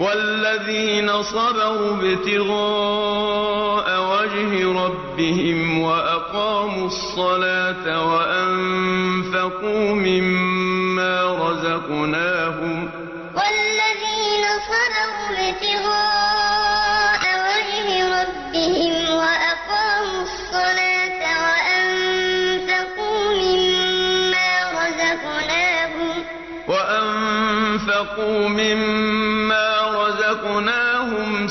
وَالَّذِينَ صَبَرُوا ابْتِغَاءَ وَجْهِ رَبِّهِمْ وَأَقَامُوا الصَّلَاةَ وَأَنفَقُوا مِمَّا رَزَقْنَاهُمْ